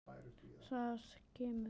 Það kemur.